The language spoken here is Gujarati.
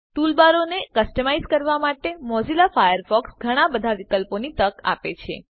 ટૂલબારોને કસ્ટમાઈઝ કરવા માટે મોઝીલા ફાયરફોક્સ ઘણા બધા વિકલ્પોની તક આપે છે